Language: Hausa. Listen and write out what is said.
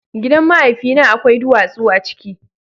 Gidan mahaifina akwai duwatsu a ciki.